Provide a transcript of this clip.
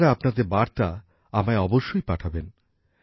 আপনারা আপনাদের বার্তা আমায় অবশ্যই পাঠাবেন